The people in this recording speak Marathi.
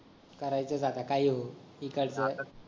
करायचच आता काही होऊ टीकायच